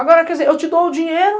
Agora, quer dizer, eu te dou o dinheiro,